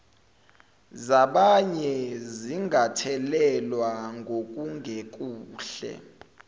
zabanye zingathelelwa ngokungekuhle